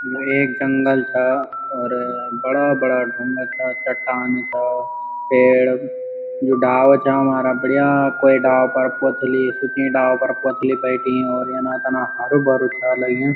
यू एक जंगल चा और बड़ा बड़ा ढुंगा चा चट्टान चा पेड़ जू डाला चा हमारा बढ़िया कोई डाला पर पुतली सुंखी डाला पर पुतली बैठीं और यना तना हरु भरुयुं चा लग्युं।